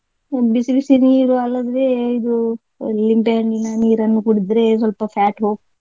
ಬಿಸಿ ಬಿಸಿ ನೀರು ಅಲ್ಲದ್ರೆ ಇದು ಲಿಂಬೆ ಹಣ್ಣಿನ ನೀರನ್ನು ಕುಡ್ದ್ರೆ ಸ್ವಲ್ಪ fat ಹೋಗ್ತದೆ.